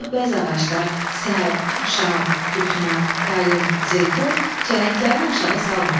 Ancaq bəzi ağaclar sərv, şam, küknar, qayın, zeytun çələnglərini aşağı salmadı.